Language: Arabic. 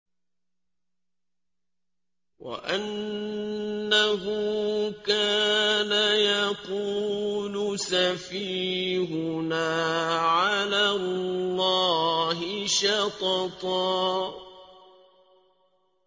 وَأَنَّهُ كَانَ يَقُولُ سَفِيهُنَا عَلَى اللَّهِ شَطَطًا